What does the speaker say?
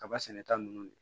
Kaba sɛnɛta ninnu de